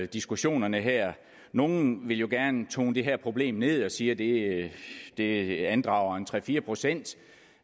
diskussionerne her nogle vil jo gerne tone det her problem ned og siger det det andrager tre fire procent